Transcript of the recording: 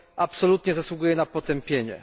absolutnie zasługuje na potępienie.